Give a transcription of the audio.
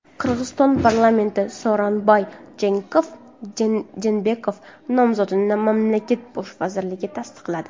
Qirg‘iziston parlamenti Sooronbay Jeenbekov nomzodini mamlakat bosh vazirligiga tasdiqladi.